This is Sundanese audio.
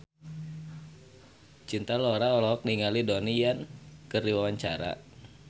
Cinta Laura olohok ningali Donnie Yan keur diwawancara